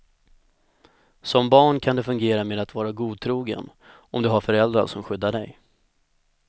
Som barn kan det fungera med att vara godtrogen, om du har föräldrar som skyddar dig.